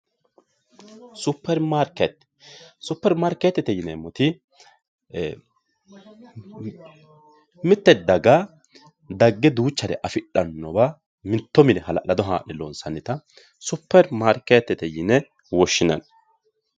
supermarikeete supermarikeetete yineemoti mitte daga dagge duuchare afixxannowa mitto mine hala'lado haa'ne loonsannita superimaarikeetete yine woshshinanni